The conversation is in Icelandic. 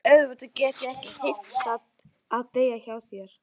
En auðvitað get ég ekki heimtað að deyja hjá þér.